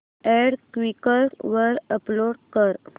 add Quikr वर upload कर